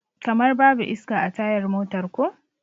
Kamar babu iska a tayar motar ko?